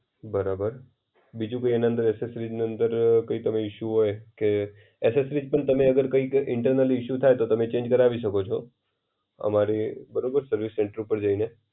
બરાબર. બીજું કઈ એના અંદર એસેસ્રિસના અંદર અ કઈ તમને ઇશુ હોય? કે એસેસ્રિસ પણ તમે અગર કૈક ઇન્ટર્નલ ઇશુ થાય તો તમે ચેન્જ કરાવી શકો છો. અમારી બરોબર સર્વિસ સેંટર ઉપર જઈને.